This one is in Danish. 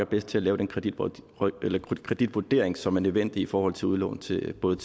bedst til at lave den kreditvurdering kreditvurdering som er nødvendig i forhold til udlån til både